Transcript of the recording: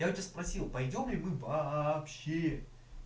я в у тебя спросил пойдём ли мы вообще